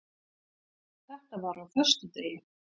Þetta var á föstudegi.